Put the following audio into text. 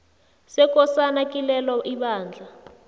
sekosana kilelo ibandla